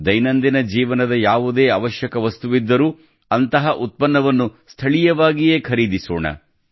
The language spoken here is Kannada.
ದೈನಂದಿನ ಜೀವನದ ಯಾವುದೇ ಅವಶ್ಯಕ ವಸ್ತುವಿದ್ದರೂ ಅಂತಹ ಉತ್ಪನ್ನವನ್ನು ಸ್ಥಳೀಯವಾಗಿಯೇ ಖರೀದಿಸೋಣ